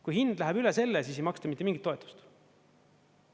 Kui hind läheb üle selle, siis ei maksta mitte mingit toetust.